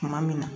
Tuma min na